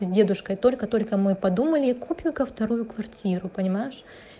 с дедушкой только только мы подумали купим-ка вторую квартиру понимаешь